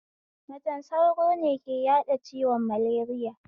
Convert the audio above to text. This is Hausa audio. Macen sauro ne ke yaɗa ciwon maleriya